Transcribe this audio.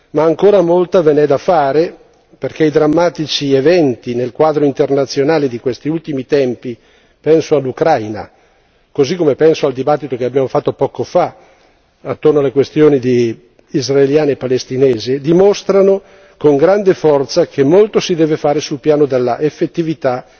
Ma ancora molta ve n'è da fare perché i drammatici eventi nel quadro internazionale di questi ultimi tempi penso all'Ucraina, così come penso al dibattito che abbiamo fatto poco fa attorno alle questioni israeliane e palestinesi dimostrano con grande forza che molto si deve fare sul piano della effettività